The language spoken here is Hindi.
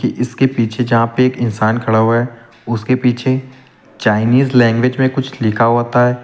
इसके पीछे यहां पे एक इंसान खड़ा हुआ है उसके पीछे चाइनीस लैंग्वेज में कुछ लिखा होता है।